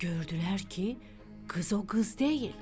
Gördülər ki, qız o qız deyil.